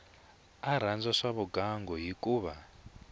a rhandza swa vugangu hikuva